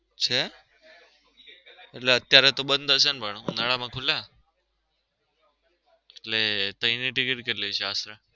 છે? અત્યરે તો બન્દ હશે ને પણ ઉનાળા માં ખુલે ને એટલે એની ticket કેટલી છે આશરે